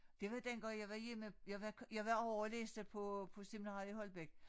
Det var dengang jeg var hjemme jeg var jeg var ovre læste på på seminariet i Holbæk